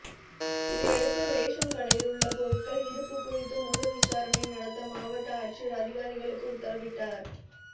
இதையடுத்து ரேஷன் கடையில் உள்ள பொருள்கள் இருப்பு குறித்து முழு விசாரணை நடத்த மாவட்ட ஆட்சியர் அதிகாரிகளுக்கு உத்தரவிட்டார்